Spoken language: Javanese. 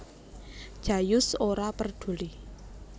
Jayus ora perduli